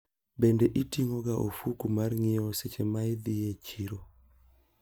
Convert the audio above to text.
Bende iting`oga ofuko mar nyiewo seche maidhi e chiro?